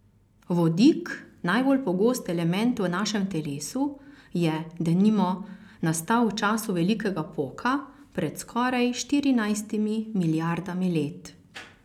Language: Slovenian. Vodik, najbolj pogost element v našem telesu, je, denimo, nastal v času velikega poka pred skoraj štirinajstimi milijardami let.